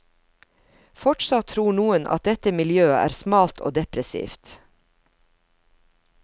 Fortsatt tror noen at dette miljøet er smalt og depressivt.